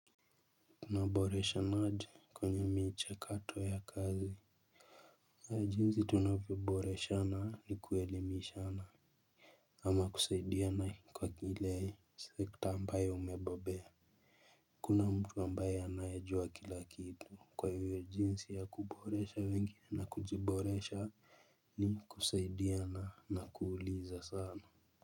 Kunaboresha maji kwenye michakato ya kazi. Kwa jinsi tunavyoboreshana na kuelemishana ama kusaidiana kwa kila sekta ambayo umebobea hakuna mtu ambaye anajua kila kitu kwahiyo jinsi ya kuboresha wengine na kujiboresha. Ni kusaidiana na kuuliza sana.